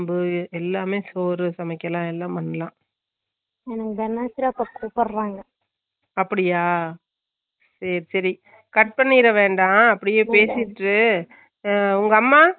எங்க அம்மா இல்லஇல்ல எங்க அம்மா திருப்பூர் ல இருக்காங்க ஆமாஆமா திருப்பூர்ல போயிருக்காங்க இப்ப ஆனா இங்க விட திருப்பூர் எல்லாம் ரொம்ப வெயில் அ இருக்கும் ஆமா பயங்கரமான வெயில்அ இருக்கும்